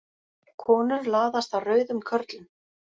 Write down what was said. Konur laðast að rauðum körlum